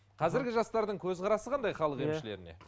қазіргі жастардың көзқарасы қандай халық емішлеріне